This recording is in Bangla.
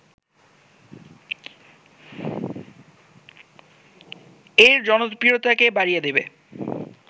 এর জনপ্রিয়তাকে বাড়িয়ে দেবে